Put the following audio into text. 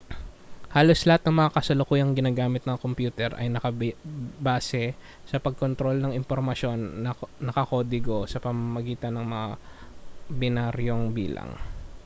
halos lahat ng mga kasalukuyang ginagamit na kompyuter ay nakabase sa pagkontrol ng impormasyon na nakakodigo sa pamamagitan ng mga binaryong bilang